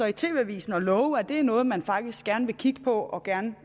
i tv avisen og love at det er noget man faktisk gerne vil kigge på og gerne